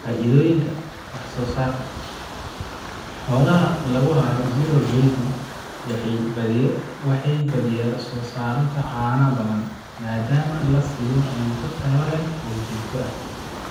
Faa'iidooyinka: Wax soosaarka: Xoolaha lagu hayo zero grazing waxay badiyaa soo saaraan caano badan, maadaama la siiyo cunto tayo leh oo joogto ah.